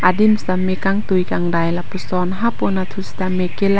dim sitame kangtui kangdai lapuson hapu anatthu sitame ke lang--